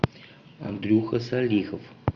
андрюха салихов